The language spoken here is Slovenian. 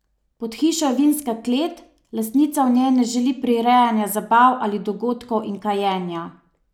Pod hišo je vinska klet, lastnica v njej ne želi prirejanja zabav ali dogodkov in kajenja.